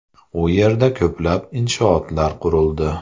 U yerda ko‘plab inshootlar qurildi.